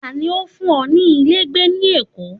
ta ni o fun e nílé gbé ni èkó